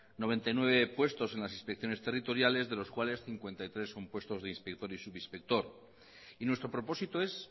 noventa y nueve puestos en las inspecciones territoriales de los cuales cincuenta y tres son puestos de inspector y subinspector y nuestro propósito es